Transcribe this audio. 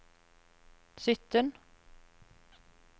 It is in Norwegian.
sytten